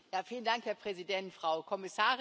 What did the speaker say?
Herr Präsident, Frau Kommissarin!